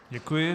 Děkuji.